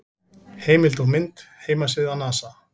Heimild og mynd: Heimasíða NASA.